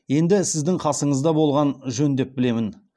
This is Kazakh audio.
енді сіздің қасыңызда болғаны жөн деп білемін